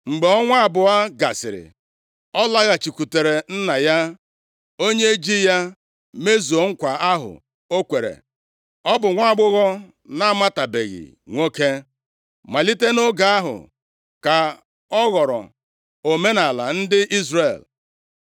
Mgbe ọnwa abụọ gasịrị, ọ laghachikwutere nna ya, onye ji ya mezuo nkwa ahụ o kwere. Ọ bụ nwaagbọghọ na-amatabeghị nwoke. Malite nʼoge ahụ ka ọ ghọrọ omenaala ndị Izrel,